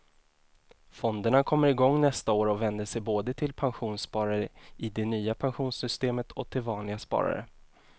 Fonderna kommer igång nästa år och vänder sig både till pensionssparare i det nya pensionssystemet och till vanliga sparare.